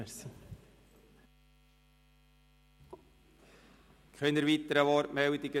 Es gibt keine weiteren Wortmeldungen.